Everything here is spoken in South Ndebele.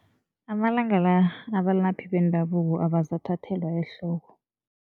Amalanga la, abalaphi bendabuko abasathathelwa ehloko.